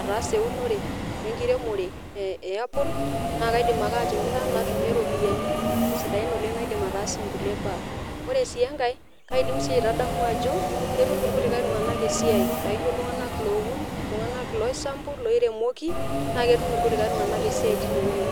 ataasa ewunore enkiremore ee e apple naa kaidim ake atimira natunie ropiani sidain oleng naidim ataasie nkulie baa, ore sii enkae kaidim sii aitadamu ajo ketum irkulikae esiai, laijo iltung'anak lowun, iltung'anak loisambu, loiremoki naa ketum irkulikae tung'anak esiai tinewuei.